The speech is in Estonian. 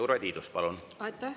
Urve Tiidus, palun!